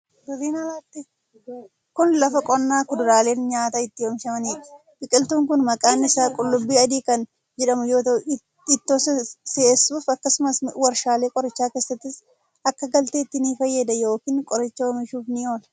Kun, lafa qonnaa kuduraaleen nyaataa itti oomishamanii dha. Biqiltuun kun maqaan isaa qullubbii adii kan jedhamu yoo ta'u ittoo si'eessuuf akkasumas warshaalee qorichaa keessattis akka galteetti ni fayyada yokin qoricha oomishuuf ni oola.